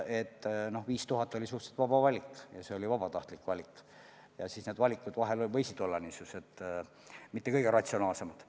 Too 5000 oli suhteliselt vaba valik ja siis need valikud võisid olla mitte kõige ratsionaalsemad.